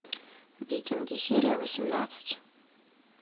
викинги серия восемнадцать